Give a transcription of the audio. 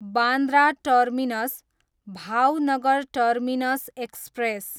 Bandra terminus, Bhavnagar terminus express